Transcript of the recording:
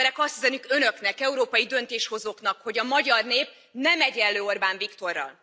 A magyar emberek azt üzenik Önöknek, európai döntéshozóknak, hogy a magyar nép nem egyenlő Orbán Viktorral!